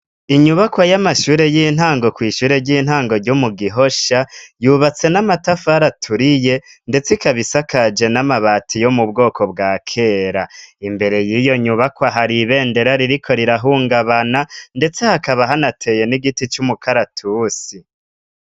Inyubakwa y'amashure y'intango, kw'ishure ry'intango ryo mu Gihosha, yubatse n'amatafari aturiye ndetse ikaba isakaje n'amabati yo mu bwoko bwa kera, imbere y'iyo nyubakwa, hari ibendera ririko rirahungabana, ndetse hakaba hanateye n'igiti c'umukaratusi.